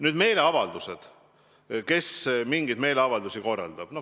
Nüüd meeleavaldustest ja sellest, kes mingeid meeleavaldusi korraldab.